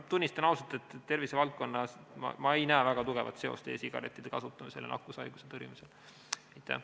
Ma tunnistan ausalt, et tervisevaldkonnas ei näe ma väga tugevat seost e-sigarettide kasutamise ja nakkushaiguse tõrjumise vahel.